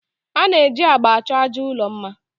A na-eji agba achọ àjà ụlọ mma